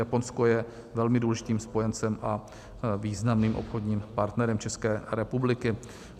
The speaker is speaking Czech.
Japonsko je velmi důležitým spojencem a významným obchodním partnerem České republiky.